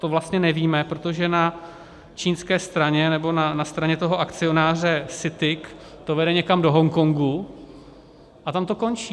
To vlastně nevíme, protože na čínské straně, nebo na straně toho akcionáře CITIC to vede někam do Hongkongu a tam to končí.